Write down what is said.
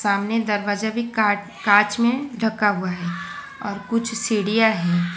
सामने दरवाजा भी काच कांच में ढका हुआ है और कुछ सीढियां है।